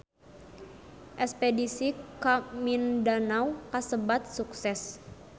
Espedisi ka Mindanao kasebat sukses